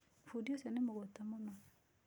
Fundi ũcio nĩ mũgũta mũno.